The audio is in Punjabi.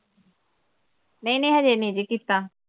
ਨਈਂ ਨਈਂ ਹਜੇ ਨਈਂ ਜੀ ਕੀਤਾ।